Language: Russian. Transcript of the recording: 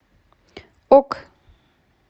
ок